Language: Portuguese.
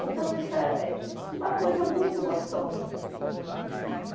Então isso é, é uma coisa muito gostosa.